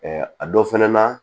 a dɔ fɛnɛ na